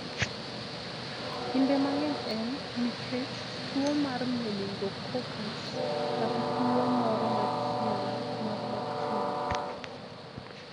Kinde mang'eny, en nikech tuwo mar meningococcus kata tuwo moro machielo mar bakteria.